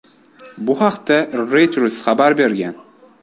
Bu haqda Reuters xabar bergan .